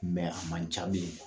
a man ca bilen.